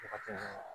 Waati